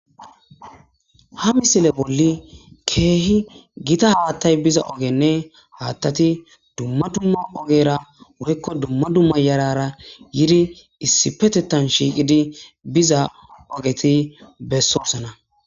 Ha misile bolli keehi gita haattay biza ogenne haattati dumma dumma ogera woykko dumma dumma yarara yiri issi petettan shiiqidi biza ogeti bessoosana